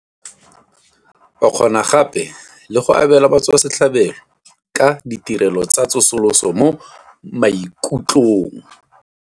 E kgona gape le go abela batswasetlhabelo ka ditirelo tsa tsosoloso mo maikutlong.